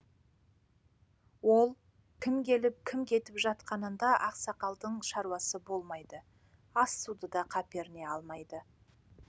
ол кім келіп кім кетіп жатқанында ақсақалдың шаруасы болмайды ас суды да каперіне алмайды